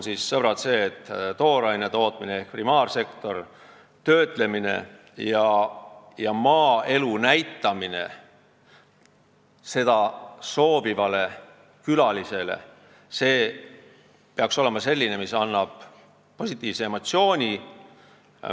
See, sõbrad, tähendab seda, et tooraine tootmine ehk primaarsektor, töötlemine ja maaelu näitamine seda soovivale külalisele peaksid olema sellised, mis annavad meie tarbijale positiivse emotsiooni.